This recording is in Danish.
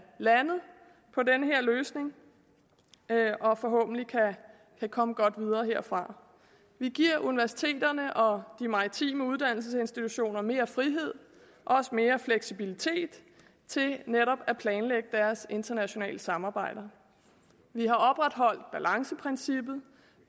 landet på den her løsning og forhåbentlig kan komme godt videre herfra vi giver universiteterne og de maritime uddannelsesinstitutioner mere frihed og også mere fleksibilitet til netop at planlægge deres internationale samarbejder vi har opretholdt balanceprincippet